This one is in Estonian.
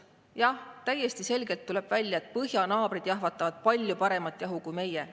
Jah, täiesti selgelt tuleb välja, et põhjanaabrid jahvatavad palju paremat jahu kui meie.